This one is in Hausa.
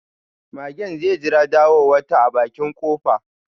Magen zai jira ɗawowata a bakin kofa.